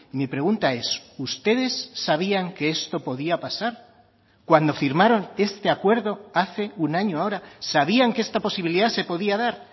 mi pregunta es ustedes sabían que esto podía pasar cuando firmaron este acuerdo hace un año ahora sabían que esta posibilidad se podía dar